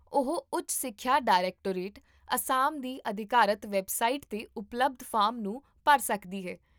ਉਹ ਉੱਚ ਸਿੱਖਿਆ ਡਾਇਰੈਕਟੋਰੇਟ, ਅਸਾਮ ਦੀ ਅਧਿਕਾਰਤ ਵੈੱਬਸਾਈਟ 'ਤੇ ਉਪਲਬਧ ਫਾਰਮ ਨੂੰ ਭਰ ਸਕਦੀ ਹੈ